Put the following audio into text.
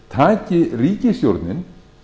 heldur taki ríkisstjórnin